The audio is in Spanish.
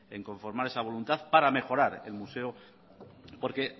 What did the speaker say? en conformar esa voluntad para mejorar el museo porque